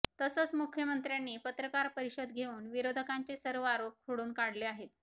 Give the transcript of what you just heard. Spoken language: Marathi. तसंच मुख्यमंत्र्यांनी पत्रकार परिषद घेऊन विरोधकांचे सर्व आरोप खोडून काढले आहेत